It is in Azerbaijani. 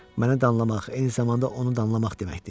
Məni danlamaq, eyni zamanda onu danlamaq deməkdir.